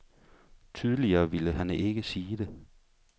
Tydeligere ville han ikke sige det.